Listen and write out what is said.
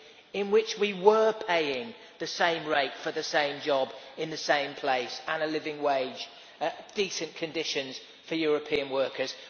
in which we were paying the same rate for the same job in the same place and providing a living wage and decent conditions for European workers.